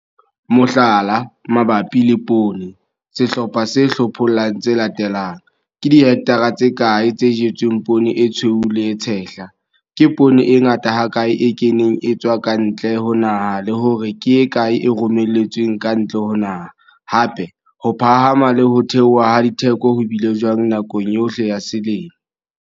Mohlala, mabapi le poone, sehlopha se hlopholla tse latelang- Ke dihekthra tse kae tse jetsweng poone e tshweu le e tshehla, ke poone e ngata hakae e keneng e tswa ka ntle ho naha, le hore ke e kae e romelletsweng ka ntle ho naha, hape, ho phahama le ho theoha ha ditheko ho bile jwang nakong yohle ya selemo.